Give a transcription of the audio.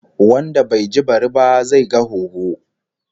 Wanda bai ji bari ba, zai ga hoho